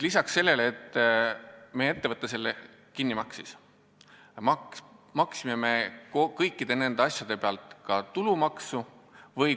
Lisaks sellele, et meie ettevõte selle kinni maksis, maksime me kõikide nende asjade pealt ka tulumaksu.